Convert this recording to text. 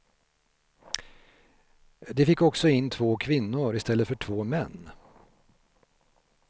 De fick också in två kvinnor i stället för två män.